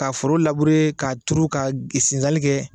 Ka foro labure ka tuuru ka sinzanli kɛ